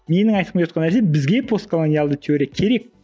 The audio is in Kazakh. менің айтқым келіп отырған нәрсе бізге постколониялды теория керек